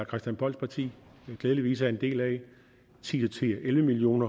christian polls parti glædeligvis er en del af ti til elleve million